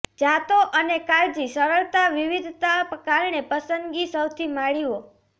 જાતો અને કાળજી સરળતા વિવિધતા કારણે પસંદગી સૌથી માળીઓ